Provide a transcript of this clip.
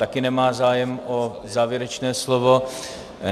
Také nemá zájem o závěrečné slovo.